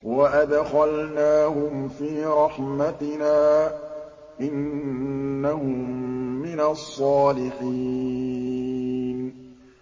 وَأَدْخَلْنَاهُمْ فِي رَحْمَتِنَا ۖ إِنَّهُم مِّنَ الصَّالِحِينَ